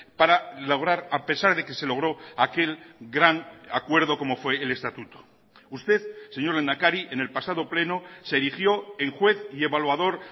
para lograr a pesar de que se logro aquel gran acuerdo como fue el estatuto usted señor lehendakari en el pasado pleno se erigió en juez y evaluador